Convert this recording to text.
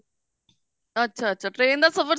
ਅੱਛਾ ਅੱਛਾ train ਦਾ ਸਫਰ